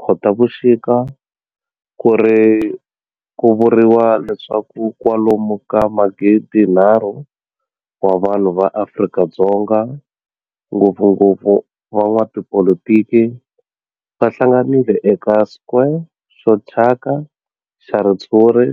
26 Khotavuxika ku vuriwa leswaku kwalomu ka magidinharhu wa vanhu va Afrika-Dzonga, ngopfungopfu van'watipolitiki va hlanganile eka square xo thyaka xa ritshuri